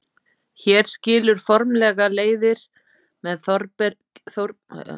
Hér skilur formlega leiðir með Þórbergi og Háskólanum.